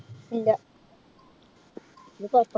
ഇല്ല. ഇത്.